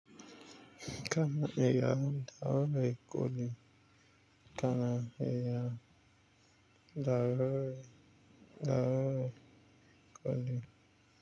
Kana iya dawo da kuɗi, kana iya dawo dawo da kuɗi.